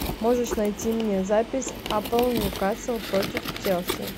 можешь найти мне запись апл ньюкасл против челси